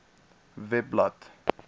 webblad